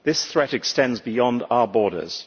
This threat extends beyond our borders.